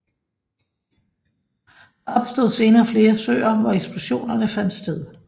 Der opstod senere flere søer hvor eksplosionerne fandt sted